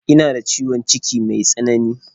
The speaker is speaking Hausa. Ina da ciwon ciki me tsanani.